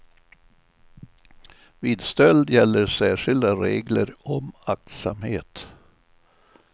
Vid stöld gäller särskilda regler om aktsamhet.